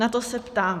Na to se ptám.